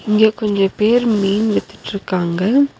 இங்க கொஞ்ச பேர் மீன் வித்திட்ருக்காங்க.